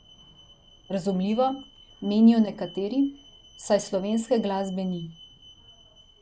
Razumljivo, menijo nekateri, saj slovenske glasbe ni.